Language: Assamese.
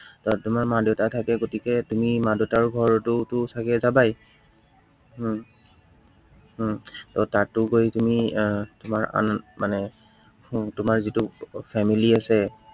আহ তোমাৰ মা-দেউতা থাকে, গতিকে তুমি মা-দেউতাৰ ঘৰতোতো চাগে যাবাই। উম উম ত তাতো গৈ পিনে আহ আন মানে তোমাৰ যিটো family আছে